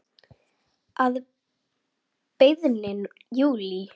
Að beiðni Júlíu.